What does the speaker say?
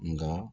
Nka